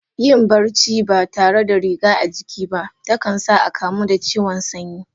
Yin barci ba tare da riga a jiki ba, ta kan sa a kamu da ciwon sanyi.